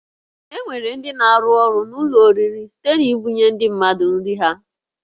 E nwere ndị na-arụ ọrụ n'ụlọ oriri site n'ibunye ndị mmadụ nri ha